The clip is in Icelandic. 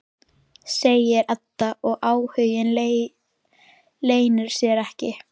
segir Edda og áhuginn leynir sér ekki.